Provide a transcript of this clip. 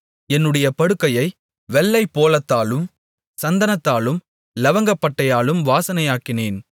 என்னுடைய படுக்கையை வெள்ளைப்போளத்தாலும் சந்தனத்தாலும் இலவங்கப்பட்டையாலும் வாசனையாக்கினேன்